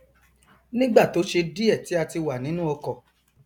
nígbà tó ṣe díẹ tí a ti wà nínú ọkọ